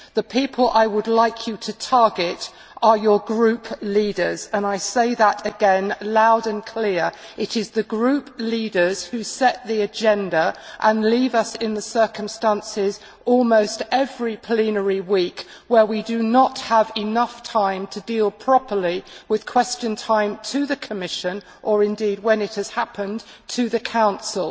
The people I would like you to target are your Group leaders and I say that again loud and clear it is the Group leaders who set the agenda and leave us in a situation, almost every plenary week, where we do no have enough time to deal properly with Question Time to the Commission, or indeed, when it has taken place, to the Council.